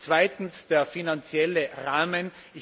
Zweitens der finanzielle Rahmen.